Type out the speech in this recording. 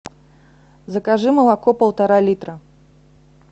закажи молоко полтора литра